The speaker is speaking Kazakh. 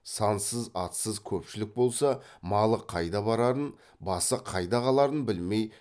сансыз атсыз көпшілік болса малы қайда барарын басы қайда қаларын білмей